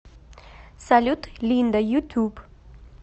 салют линда ютуб